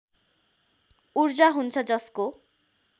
ऊर्जा हुन्छ जसको